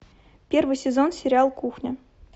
первый сезон сериал кухня